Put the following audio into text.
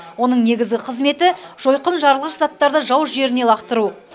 оның негізгі қызметі жойқын жарылғыш заттарды жау жеріне лақтыру